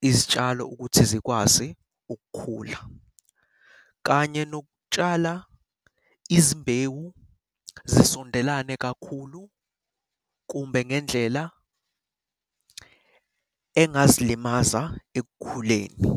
izitshalo ukuthi zikwazi ukukhula, kanye nokutshala izimbewu zisondelane kakhulu kumbe ngendlela engazilimaza ekukhuleni.